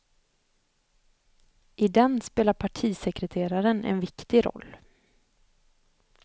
I den spelar partisekreteraren en viktig roll.